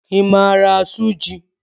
I maara asụ jị?